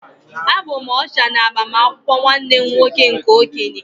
Abụ m Ọsha na agbamakwụkwọ nwanne m nwoke nke okenye